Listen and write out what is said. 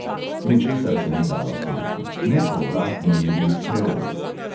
"Ničesar se ni dalo storiti: nepovratno je bil kreol."